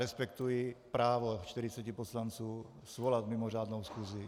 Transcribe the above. Respektuji právo čtyřiceti poslanců svolat mimořádnou schůzi.